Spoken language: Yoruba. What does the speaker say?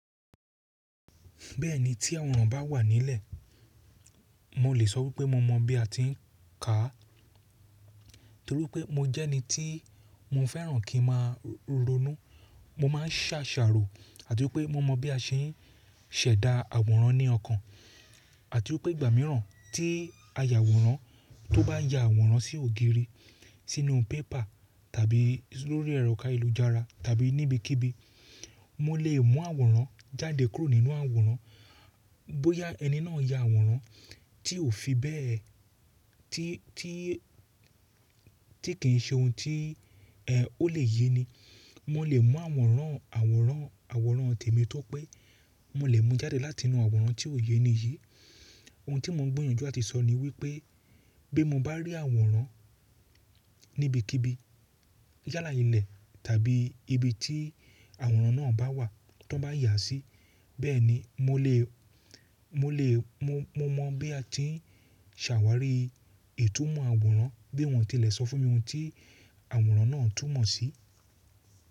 Bẹ́ẹ̀ni tí àwòrán bá wà nílẹ̀, mo lè sọ wípé mo mọ̀ bí a ti ń kà á, torí pé mo jẹ́ ẹni tí mo fẹ́ràn kí n máa ronú. Mo máa ń ṣàṣàrò àti wípé mo mọ̀ bí a ṣe ń ṣẹ̀dá àwòrán ní ọkàn, àti wípé ìgbà mìíràn tí a yà àwòrán, tó bá yà àwòrán sí ògiri, sínú pépà tàbí lórí ẹ̀rọ ayélujára tàbí níbikíbi, mo lè mú àwòrán jáde kúrò nínú àwòrán. Bóyá ẹni náà yà àwòrán tí ò fi bẹ́ẹ̀, tí kì ń ṣe ohun tí ó lè yé ni, mo lè mú àwòrán àwòrán àwòrán tèmi tó pé mo lè mú jáde látinú àwòrán tí ò yé níyì. Ohun tí mo ń gbìyànjú àti sọ ni wípé bí mo bá rí àwòrán níbikíbi yálà ilẹ̀ tàbí ibi tí àwòrán náà bá wà t'an bá yà á sí, bẹ́ẹ̀ni mo lè mo mọ̀ bí a ti ń ṣàwárí ìtumọ̀ àwòrán, bí wọ́n tilẹ̀ sọ fún mi ohun tí àwòrán náà ń túmọ̀ sí.